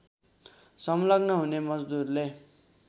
संलग्न हुने मजदूरले